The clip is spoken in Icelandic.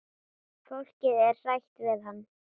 Fólkið er hrætt við hann.